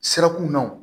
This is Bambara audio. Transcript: Sirakunnaw